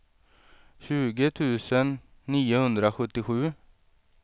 tjugo tusen niohundrasjuttiosju